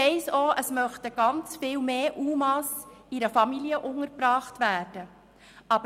Ich weiss auch, dass sehr viel mehr UMA in einer Familie untergebracht werden möchten.